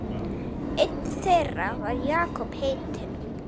Einn þeirra var Jakob heitinn